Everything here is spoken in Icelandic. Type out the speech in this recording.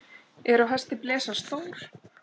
Er á hesti blesa stór.